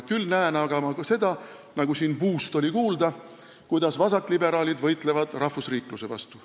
Küll aga näen ma seda, nagu siin sellest buu-st kuulda oli, kuidas vasakliberaalid võitlevad rahvusriikluse vastu.